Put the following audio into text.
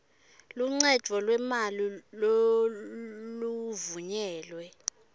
luncedvo lwemali loluvunyelwe